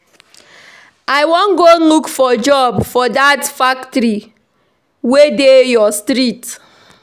I wan go look for job for dat factory wey dey your street